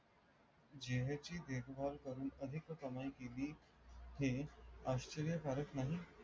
झीन्याची देख भाल करून अधिक कमाई केली हे आश्चर्य कारक नाही